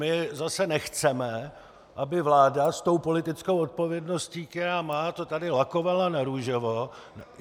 My zase nechceme, aby vláda s tou politickou odpovědností, kterou má, to tady lakovala na růžovo.